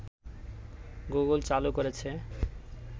Google চালু করেছে